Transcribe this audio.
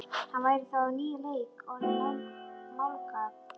Hann væri þá á nýjan leik orðinn málgagn.